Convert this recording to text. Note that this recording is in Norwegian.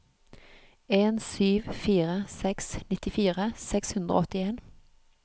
en sju fire seks nittifire seks hundre og åttien